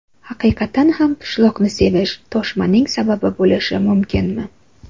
Haqiqatan ham pishloqni sevish toshmaning sababi bo‘lishi mumkinmi?